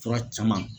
Fura caman